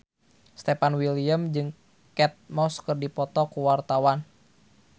Stefan William jeung Kate Moss keur dipoto ku wartawan